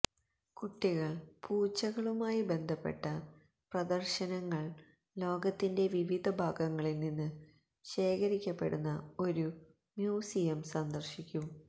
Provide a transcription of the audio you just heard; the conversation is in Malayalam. കുട്ടികൾ പൂച്ചകളുമായി ബന്ധപ്പെട്ട പ്രദർശനങ്ങൾ ലോകത്തിന്റെ വിവിധ ഭാഗങ്ങളിൽ നിന്ന് ശേഖരിക്കപ്പെടുന്ന ഒരു മ്യൂസിയം സന്ദർശിക്കും